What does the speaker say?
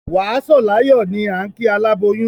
Wà á sọ̀ láyọ̀ ni ìkíni aláboyún.